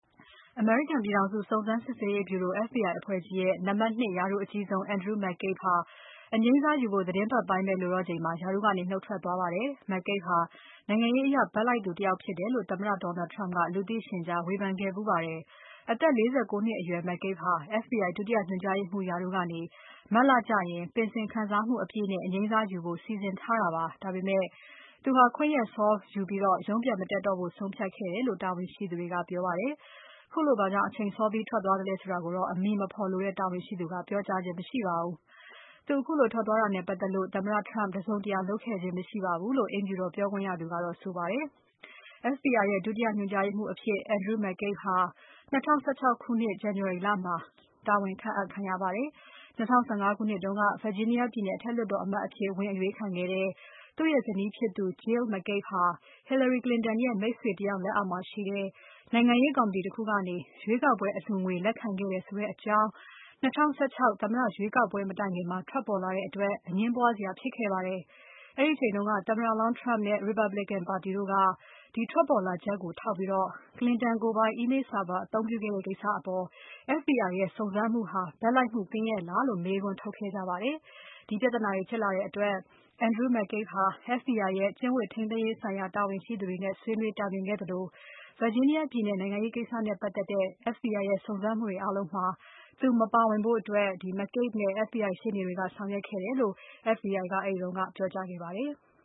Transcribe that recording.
အမေရိကန်ပြည်ထောင်စု စုံစမ်းစစ်ဆေးရေးဗြူရို FBI အဖွဲ့ကြီးရဲ့ နံပါတ် ၂ ရာထူးအကြီးဆုံး Andrew McCabe ဟာ အငြိမ်းစားယူဖို့ သီတင်းပတ်ပိုင်းပဲ လိုတော့ချိန်မှာ ရာထူးကနေ နုတ်ထွက်သွားပါတယ်။ McCabe ဟာ နိုင်ငံရေးအရဘက်လိုက်သူတယောက်ဖြစ်တယ်လို့ သမ္မတ Donal Trump က လူသိရှင်ကြား ဝေဖန်ခဲ့ဖူးပါတယ်။ အသက် ၄၉ နှစ်အရွယ် McCabe ဟာ FBI ဒုတိယ ညွှန်ကြားရေးမှူးရာထူးကနေ မတ်လကျရင် ပင်စင်ခံစားမှုအပြည့်နဲ့ အငြိမ်းစားယူဖို့ စီစဉ်ထားတာဖြစ်ပါတယ်။ ဒါပေမဲ့ သူဟာ ခွင့်ရက်စောယူပြီး ရုံးပြန်မတက်တော့ဖို့ ဆုံးဖြတ်ခဲ့တယ်လို့ တာဝန်ရှိသူတွေက ပြောပါတယ်။ ခုလိုဘာကြောင့် အချိန်စောပြီး ထွက်သွားသလဲဆိုတာကိုတော့ အမည်မဖော်လိုတဲ့ တာဝန်ရှိသူက ပြောကြားခြင်း မရှိပါဘူး။ သူခုလို ထွက်သွားတာနဲ့ ပတ်သက်လို့ သမ္မတ Trump တစုံတရာလုပ်ခဲ့ခြင်း မရှိပါဘူးလို့ အိမ်ဖြူတော်ပြောခွင့်ရသူ ပြောပါတယ်။ FBI ရဲ့ ဒုတိယညွှန်ကြားရေးမှူးအဖြစ် Andrew McCabe ၂၀၁၆ ခုနှစ် January လမှာ ခန့်အပ်ခံရပါတယ်။ ၂၀၁၅ ခုနှစ်တုန်းက Virginia ပြည်နယ်အထက်လွှတ်တော်အမတ်အဖြစ် ဝင်အရွေးခံခဲ့တဲ့ သူ့ရဲ့ဇနီးဖြစ်သူ Jill McCabe ဟာ Hillary Clinton ရဲ့ မိတ်ဆွေတယောက် လက်အောက်မှာရှိတဲ့ နိုင်ငံရေးကော်မတီတခုကနေ ရွေးကောက်ပွဲအလှူငွေ လက်ခံခဲ့တယ်ဆိုတဲ့အကြောင်း ၂၀၁၆ သမ္မတရွေးကောက်ပွဲမတိုင်ခင် ထွက်ပေါ်လာခဲ့တဲ့အတွက် အငြင်းပွားစရာဖြစ်ခဲ့ပါတယ်။ အဲဒီအချိန်က သမ္မတလောင်း Trump နဲ့ Republican ပါတီတို့က ဒီထွက်ပေါ်လာချက်ကို ထောက်ပြီး Clinton ကိုယ်ပိုင် Email server အသုံးပြုခဲ့တဲ့ကိစ္စအပေါ် FBI ရဲ့စုံစမ်းမှုဟာ ဘက်လိုက်မှုကင်းရဲ့လားလို့ မေးခွန်းထုတ်ခဲ့ကြပါတယ်။ ဒီပြဿနာတွေဖြစ်လာတဲ့အတွက် Andrew McCabe ဟာ FBI ရဲ့ ကျင့်ဝတ်ထိန်းသိမ်းရေးဆိုင်ရာ တာဝန်ရှိသူတွေနဲ့ ဆွေးနွေးတိုင်ပင်ခဲ့သလို Virginia ပြည်နယ်နိုင်ငံရေးကိစ္စနဲ့ပတ်သက်တဲ့ FBI ရဲ့ စုံစမ်းမှုတွေအားလုံးမှာ သူ မပါဝင်ဖို့ McCabe နဲ့ FBI ရှေ့နေတွေက ဆောင်ရွက်ခဲ့တယ်လို့ FBI က အဲဒီတုန်းက ပြောကြားခဲ့ပါတယ်။